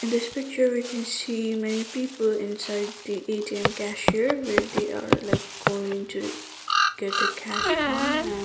this picture we can see many people inside the A_T_M cashier where they are like going to get a cash from and --